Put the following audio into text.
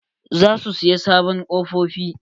Za su siya sabon kofofi.